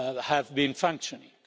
have been functioning.